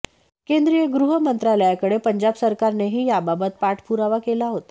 केंद्रीय गृह मंत्रालयाकडे पंजाब सरकारनेही याबाबत पाठपुरावा केला होता